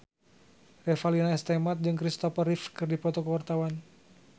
Revalina S. Temat jeung Christopher Reeve keur dipoto ku wartawan